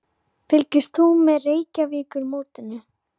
Fylgist þú með Reykjavíkurmótinu?